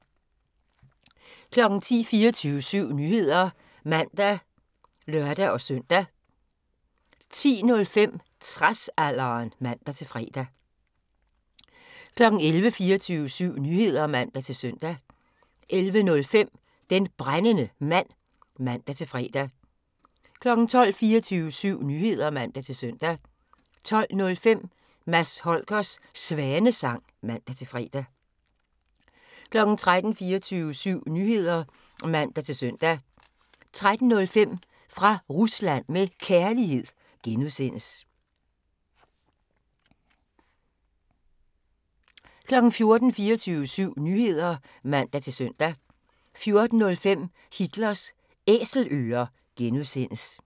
10:00: 24syv Nyheder (man og lør-søn) 10:05: Tradsalderen (man-fre) 11:00: 24syv Nyheder (man-søn) 11:05: Den Brændende Mand (man-fre) 12:00: 24syv Nyheder (man-søn) 12:05: Mads Holgers Svanesang (man-fre) 13:00: 24syv Nyheder (man-søn) 13:05: Fra Rusland med Kærlighed (G) 14:00: 24syv Nyheder (man-søn) 14:05: Hitlers Æselører (G)